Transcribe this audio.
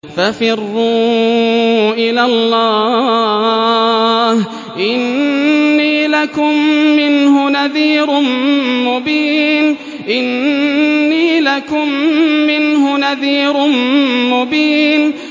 فَفِرُّوا إِلَى اللَّهِ ۖ إِنِّي لَكُم مِّنْهُ نَذِيرٌ مُّبِينٌ